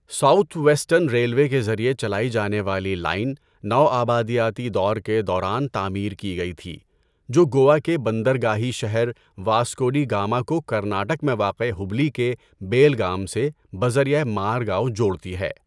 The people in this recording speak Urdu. ساؤتھ ویسٹرن ریلوے کے ذریعے چلائی جانے والی لائن نوآبادیاتی دور کے دوران تعمیر کی گئی تھی جو گوا کے بندرگاہی شہر واسکو ڈی گاما کو کرناٹک میں واقع ہبلی کے بیلگام سے بذریعہ مارگاؤ جوڑتی ہے۔